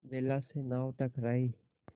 बेला से नाव टकराई